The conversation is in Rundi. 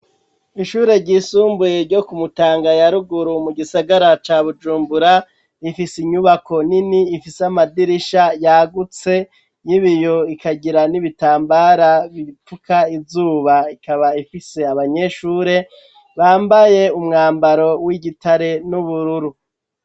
Ishure ryisumbuye ryo ku Mutanga ya ruguru, mu gisagara ca Bujumbura, ifise inyubako nini ifise amadirisha yagutse, y'ibiyo ikagira n'ibitambara bifuka izuba, ikaba ifise abanyeshure bambaye umwambaro w'igitare n'ubururu.